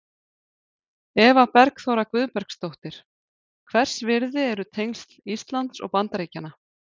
Eva Bergþóra Guðbergsdóttir: Hvers virði eru tengsl Íslands og Bandaríkjanna?